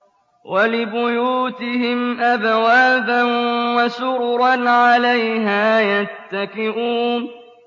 وَلِبُيُوتِهِمْ أَبْوَابًا وَسُرُرًا عَلَيْهَا يَتَّكِئُونَ